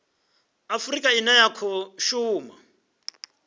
afurika ine ya khou shuma